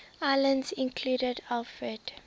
islands included alfred